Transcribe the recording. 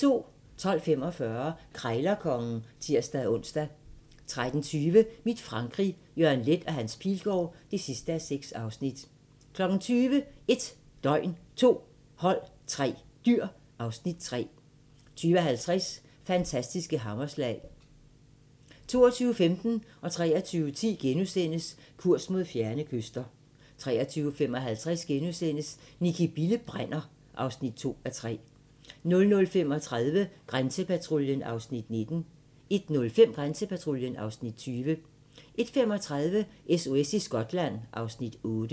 12:45: Krejlerkongen (tir-ons) 13:20: Mit Frankrig - Jørgen Leth & Hans Pilgaard (6:6) 20:00: 1 døgn, 2 hold, 3 dyr (Afs. 3) 20:50: Fantastiske hammerslag 22:15: Kurs mod fjerne kyster * 23:10: Kurs mod fjerne kyster * 23:55: Nicki Bille brænder (2:3)* 00:35: Grænsepatruljen (Afs. 19) 01:05: Grænsepatruljen (Afs. 20) 01:35: SOS i Skotland (Afs. 8)